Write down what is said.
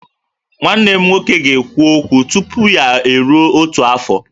Nwa m nwoke ga-ekwu okwu tupu ya eruo otu afọ